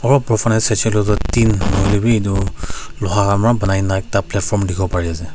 Aro operfalay saisha koilay tho den nahoi laybe etu lohakhan bara punaina akada platform dekhi bolay bari asa.